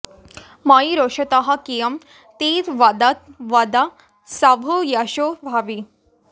मयि रोषतः कियत् ते वद वद शम्भो यशो भावि